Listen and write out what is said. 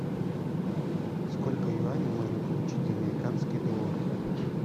сколько юаней можно получить за американские доллары